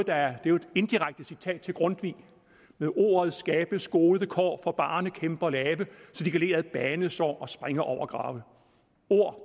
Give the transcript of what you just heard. er jo et indirekte citat fra grundtvig med ordet skabes gode kår for barnekæmper lave så de kan le ad banesår og springe over grave ord